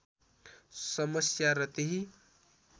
समस्या र त्यही